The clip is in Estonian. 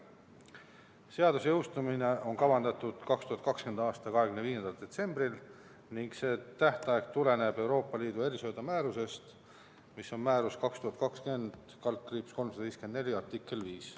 Seaduse jõustumine on kavandatud 2020. aasta 25. detsembrile, see tähtaeg tuleneb Euroopa Liidu erisöödamääruse 2020/354 artiklist 5.